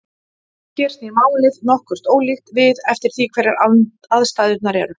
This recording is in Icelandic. Hér snýr málið nokkuð ólíkt við eftir því hverjar aðstæðurnar eru.